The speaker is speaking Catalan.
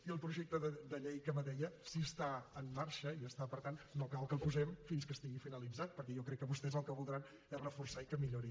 i el projecte de llei que me deia sí que està en marxa hi està per tant no cal que el posem fins que estigui finalitzat perquè jo crec que vostès el que deuen voler és reforçar i que millori